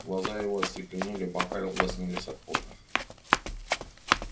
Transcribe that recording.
глаза его остекленели бока лоснились от пота